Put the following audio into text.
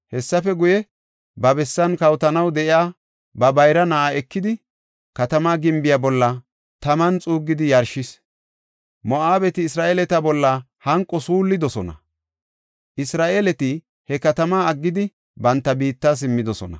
Hessafe guye, ba bessan kawotanaw de7iya ba bayra na7aa ekidi, katama gimbiya bolla taman xuuggidi yarshis. Moo7abeti Isra7eeleta bolla hanqo suullidosona. Isra7eeleti he katamaa aggidi, banta biitta simmidosona.